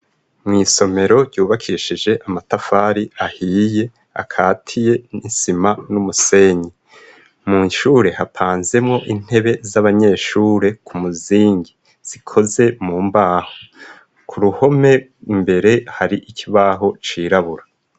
Mw'isomero ryubakishije amatafari ahiye akatiye n'isima n'umusenyi. Mw'ishure hapanzemwo intebe z'abanyeshure ku muzingi, zikoze mu mbaho. Ku ruhome imbere, hari ikibaho cirabura.